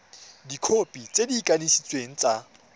dikhopi tse di kanisitsweng tsa